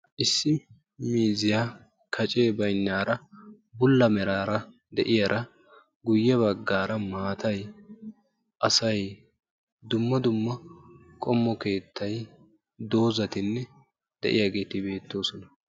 Issi miizziyaa kacee baynnaaraa bulla meraara de"iyaaraa guyye baggaara maatay, asay dumma dumma qommo keettay doozzatinne de"iyaageti beettoosona.